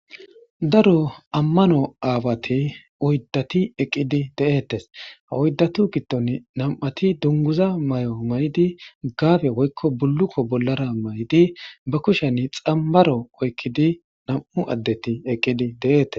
daro ammano aawati oyddati eqqidi de7ettes ha oyddatu gitton nam7ati dunguza may7o may7idi gaabe woykko bullukko bollara may7idi ba kusheni xammaro oykkidi nam7u addeti eqqidi de7ettes